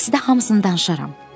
Taksidə hamısını danışaram.